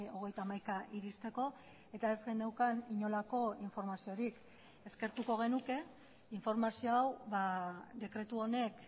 hogeita hamaika iristeko eta ez geneukan inolako informaziorik eskertuko genuke informazio hau dekretu honek